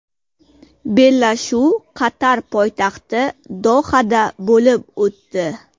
Bellashuv Qatar poytaxti Dohada bo‘lib o‘tdi.